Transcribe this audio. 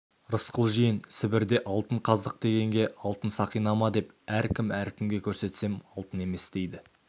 рысқұл жиен сібірде алтын қаздық дегенге алтын сақина ма деп әркім-әркімге көрсетсем алтын емес дейді